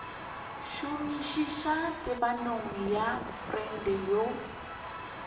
šomišitše tebanyo ya freud ya